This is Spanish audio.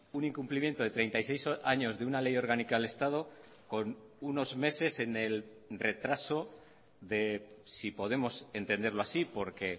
un incumplimiento de treinta y seis años de una ley orgánica del estado con unos meses en el retraso de si podemos entenderlo así porque